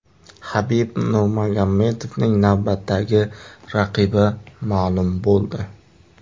Habib Nurmagomedovning navbatdagi raqibi ma’lum bo‘ldi.